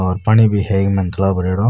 और पानी भी है इक माइन तालाब भ्रेड़ो --